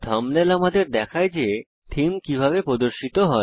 thumbnail আপনাকে দেখায় যে থীম কিভাবে প্রদর্শিত হবে